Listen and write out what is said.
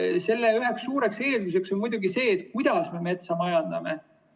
Selle üheks suureks eelduseks on muidugi see, kuidas me metsa majandame.